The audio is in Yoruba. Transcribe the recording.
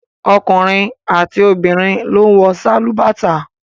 Ọkùnrin àti obìnrin ló ń wọ sálúbàtà